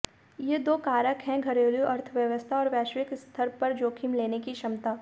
ये दो कारक हैं घरेलू अर्थव्यवस्था और वैश्विक स्तर पर जोखिम लेने की क्षमता